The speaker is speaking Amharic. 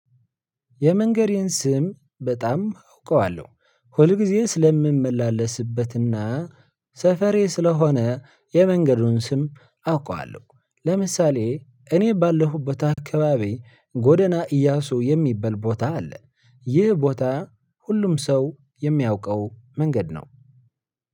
የመንገዴን ስም በጣም አውቀዋለሁ ሁል ጊዜ ስለምመላለስበት እና ሰፈሬ ስለሆነ የመንገዱን ስም አውቀዋለሁ። ለምሳሌ እኔ ባለሁበት አካባቢ ጎደና ኢያሱ የሚባል ቦታ አለ። ይህ ቦታ ሁሉም ሰው የሚያውቀው መንገድ ነው።